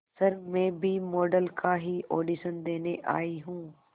sir मैं भी model का ही ऑडिशन देने आई हूं